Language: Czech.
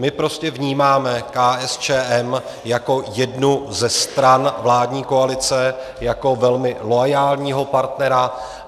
My prostě vnímáme KSČM jako jednu ze stran vládní koalice, jako velmi loajálního partnera.